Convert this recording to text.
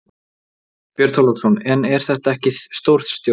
Björn Þorláksson: En er þetta ekki stórtjón?